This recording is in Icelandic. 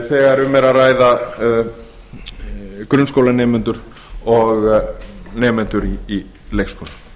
þegar um er að ræða grunnskólanemendur og nemendur í leikskóla